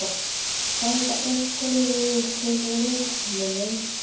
Bæta einhverjir við sig leikmönnum?